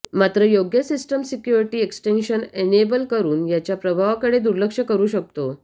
मात्र योग्य system security extensions enable करुन याच्या प्रभावाकडे दुर्लक्ष करु शकतो